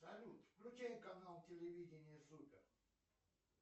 салют включай канал телевидения супер